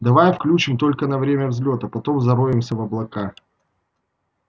давай включим только на время взлёта потом зароемся в облака